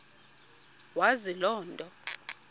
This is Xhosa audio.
wazi loo nto